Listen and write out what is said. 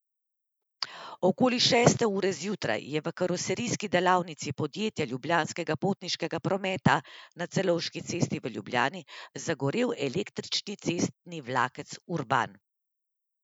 Okoli šeste ure zjutraj je v karoserijski delavnici podjetja Ljubljanskega potniškega prometa na Celovški cesti v Ljubljani zagorel električni cestni vlakec Urban.